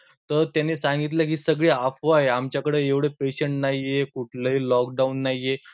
तर त्यांनी सांगितले की सगळं अफवा आहे, आमच्याकडे एवढे patient नाही, कुठलही lockdown नाही.